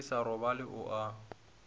ke sa robale o a